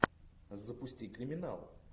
запусти криминал